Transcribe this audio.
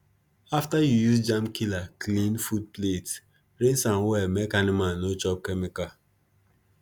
after you use germ killer clean food plate rinse am well make animal no chop chemical